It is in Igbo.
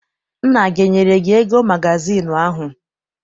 Nna gị enyere gị ego magazịịnụ ahụ?